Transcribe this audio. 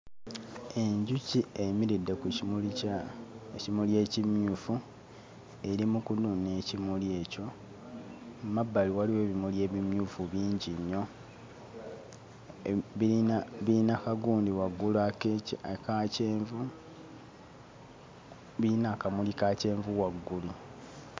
Enjuki eyimiridde ku kimuli kya ekimuli ekimyufu eri mu kunuuna ekimuli ekyo mu mabbali waliwo ebimuli ebimyufu bingi nnyo eh biyina ka gundi waggulu ak'eki aka kyenvu biyina akamuli ka kyenvu waggulu.